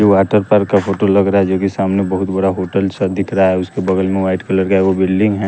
ये water park का photo लग रहा है जोकि सामने बहुत बड़ा होटल सा दिख रहा है उसके बगल में वाइट कलर का एको बिल्डिंग है।